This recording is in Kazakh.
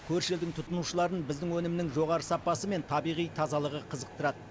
көрші елдің тұтынушыларын біздің өнімнің жоғары сапасы мен табиғи тазалығы қызықтырады